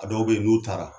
A dɔw bɛ yen n'u taara